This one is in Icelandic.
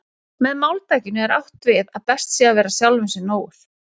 Með máltækinu er því átt við að best sé að vera sjálfum sér nógur.